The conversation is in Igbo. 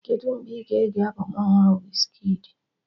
Kedụ mgbe ị ga-ege albọm ọhụrụ Wizkidi?